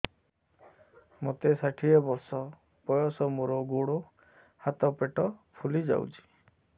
ମୋତେ ଷାଠିଏ ବର୍ଷ ବୟସ ମୋର ଗୋଡୋ ହାତ ପେଟ ଫୁଲି ଯାଉଛି